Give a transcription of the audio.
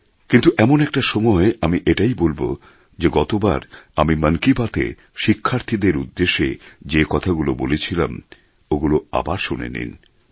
কিন্তু এমন একটা সময় আমি এটাই বলব যে গত বার আমি মন কী বাত এ শিক্ষার্থীদের উদ্দেশে যে কথাগুলো বলেছিলাম ওগুলো আবার শুনে নিন